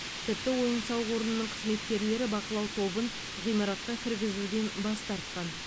тіпті ойын сауық орнының қызметкерлері бақылау тобын ғимаратқа кіргізуден бас тартқан